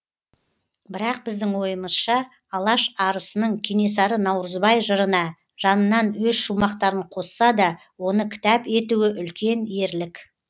бірақ біздің ойымызша алаш арысының кенесары наурызбай жырына жанынан өз шумақтарын қосса да оны кітап етуі үлкен ерлік